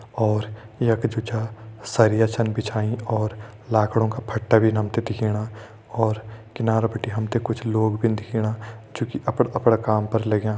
और यख जु छा सरिया छन बिछाईं और लाखड़ों का फट्टा भीन हम ते दिखेणा और किनारा बिटि कुछ लोग भिन दिखेणा जु कि अपड़ा अपड़ा काम पर लग्यां।